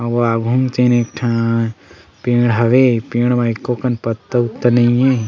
आवो आघु म तेन एक ठन पेड़ हवे पेड़ म एको कन पत्ता उत्ता नइ हे।